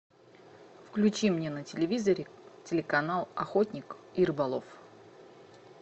включи мне на телевизоре телеканал охотник и рыболов